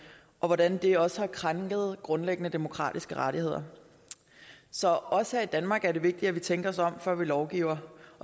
og hvordan det også har krænket grundlæggende demokratiske rettigheder så også her i danmark er det vigtigt at vi tænker os om før vi lovgiver